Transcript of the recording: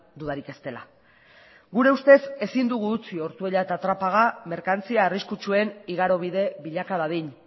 dudarik ez dela gure ustez ezin dugu utzi ortuella eta trapaga merkantzia arriskutsuen igarobide bilaka dadin